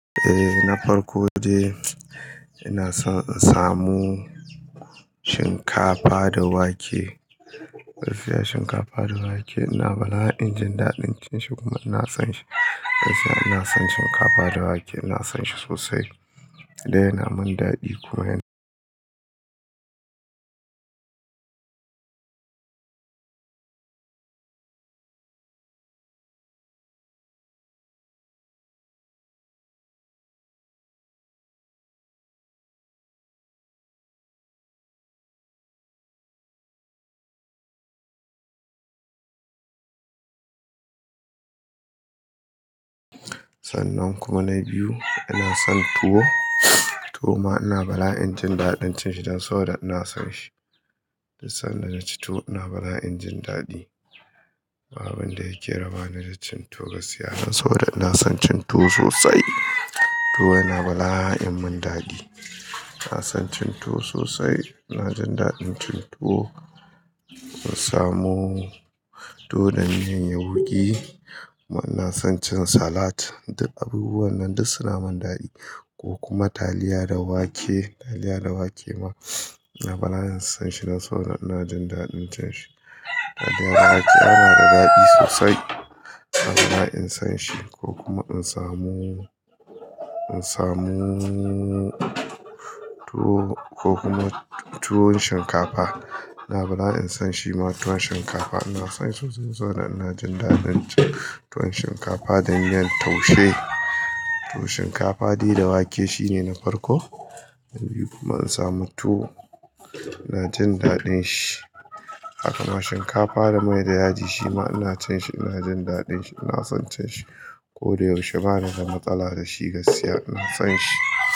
Eh na farko dai ina son in samu shinkafa da wake. Gaskiya shinkafa da wake ina bala'in jin daɗin cin shi kuma ina son shi. Gaskiya ina son shinkafa da wake ina son shi sosai ya man daɗi. Sanan kuma na biyu ina son tuwo tuwo ma ina bala'in jin daɗin cin shi dan so da ina son shi. Dis sanda na ci tuwo ina bala'in jin daɗi. Ba abun da yake raba ni da cin tuwo gaskiya dan soboda ina son cin tuwo sosai.l. Tuwo yana bala'an mun dadi. Ina son cin tuwo sosai ina jin daɗin cin tuwo in samu tuwo da miyan yauƙi kuma ina son cin salat duk abubuwan nan duk suna mun dadi ko kuma taliya da wake, taliya da wake ma ina bala'in son shi dan saboda ina jin daɗin cin shi. Taliya da wake yana da daɗi sosai ina bala'in son shi ko kuma in samu, in samu tuwo ko kuma tuwon shinkafa ina bala'in son shi ma tuwon shinkafa ina son shi sosai so da ina jin daɗin cin tuwon shinkafa da niyyar taushe. Tuwon shinkafa dai da wake shine na farko kuma in samu tuwo ina jin daɗin shi. Haka ma shinkafa da mai da yaji shi ma ina cin shi ina jin daɗin shi ina son cin shi. Ko da yaushe bana da matsala da shi gaskiya ina son shi.